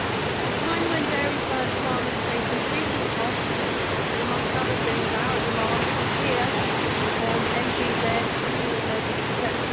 At a time when dairy farmers face increasing costs through, amongst other things, our demands from here on NVZs, greening measures, etc.,